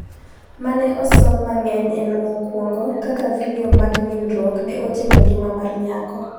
mane osom mangeny en mokuongo ,Kaka vidio mag nindruok ne otieko ngima mar nyako